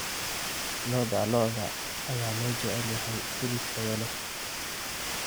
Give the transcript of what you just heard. Lo'da lo'da ayaa loo jecel yahay hilib tayo leh.